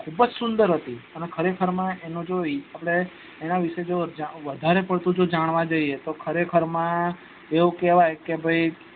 ખુબ જ સુંદર હતી અને ખરે ખર માં એનો જો એના વિશે જો વધારે વિશે જાણવા જઈએ તો ખરે ખર માં એવું કેવાય ક ભાઈ